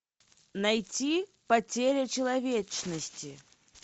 найти потеря человечности